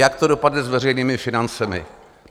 Jak to dopadne s veřejnými financemi?